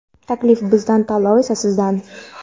Taklif bizdan, tanlov esa sizdan!.